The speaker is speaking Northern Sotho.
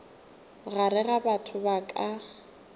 gare ga batho ba ka